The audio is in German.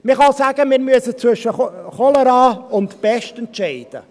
Man kann auch sagen: Wir müssen zwischen Cholera und Pest entscheiden.